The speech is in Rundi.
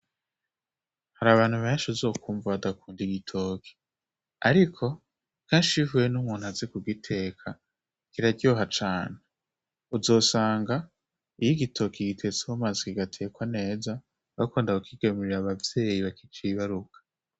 Hari abantu benshi uzokwumva badakunda igitoki ,ariko, kenshi iyo uhuye n'umuntu azi kugiteka kiraryoha cane. Uzosanga iyo igitoki gitetse mu mazi kigatekwa neza, bakunda kukigemurira abavyeyi bakicibaruka.